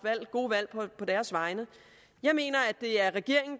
gode valg på deres vegne jeg mener at det er regeringen